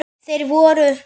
Þeir voru